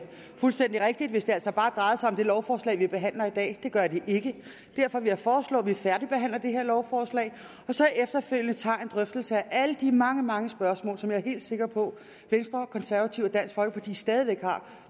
fuldstændig rigtigt hvis det altså bare drejede sig om det lovforslag vi behandler i dag det gør det ikke og derfor vil jeg foreslå at vi færdigbehandler det her lovforslag og så efterfølgende tager en drøftelse af alle de mange mange spørgsmål som jeg er helt sikker på at venstre konservative og dansk folkeparti stadig væk har